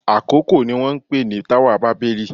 Àkókò ni wọ́n ń pè ní táwà bábẹ́lì.